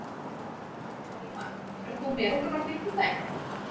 Hólmar, ferð þú með okkur á fimmtudaginn?